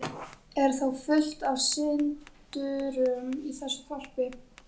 Er þá fullt af syndurum í þessu þorpi?